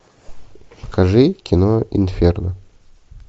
покажи кино инферно